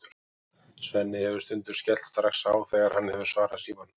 Svenni hefur stundum skellt strax á þegar hann hefur svarað símanum.